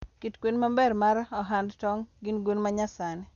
Kit gwen maber mar ohand tong' gin gwen ma nyasani